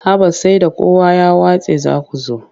Haba sai da kowa ya watse za ku zo.